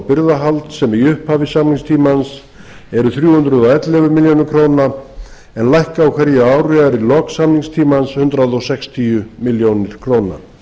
birgðahalds sem í upphafi samningstímans eru þrjú hundruð og ellefu milljónir króna en lækka á hverju ári eða í lok samningstímans um hundrað sextíu milljónir króna